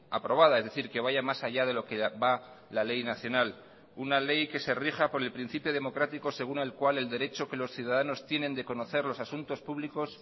aprobada es decir que vaya más allá de lo que va la ley nacional una ley que se rija por el principio democrático según el cual el derecho que los ciudadanos tienen de conocer los asuntos públicos